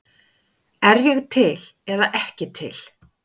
Er ég til eða ekki til?